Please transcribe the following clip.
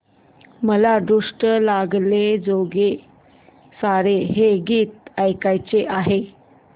मला दृष्ट लागण्याजोगे सारे हे गीत ऐकायचे आहे